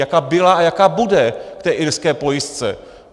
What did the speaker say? Jaká byla a jaká bude k té irské pojistce?